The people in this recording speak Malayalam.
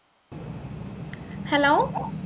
hello